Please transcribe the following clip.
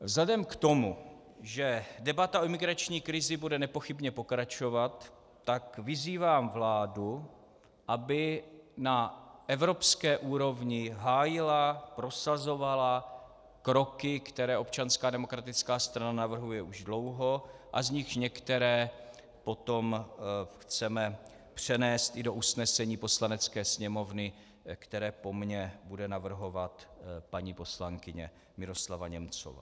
Vzhledem k tomu, že debata o migrační krizi bude nepochybně pokračovat, tak vyzývám vládu, aby na evropské úrovni hájila, prosazovala kroky, které občanská demokratická strana navrhuje už dlouho a z nichž některé potom chceme přenést i do usnesení Poslanecké sněmovny, které po mně bude navrhovat paní poslankyně Miroslava Němcová.